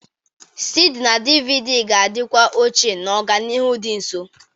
CD na DVD ga-adịkwa ochie n'ọdịnihu dị nso